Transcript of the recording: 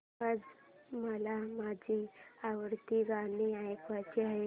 आज मला माझी आवडती गाणी ऐकायची आहेत